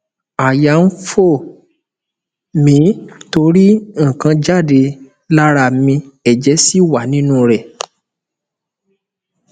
àwọn àmì aisan wo ló lè wáyé ninu omode lẹyìn tí tí igo gba a